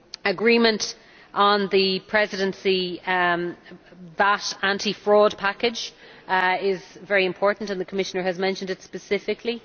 Agreement on the Presidency VAT anti fraud package is very important, and the Commissioner has mentioned it specifically.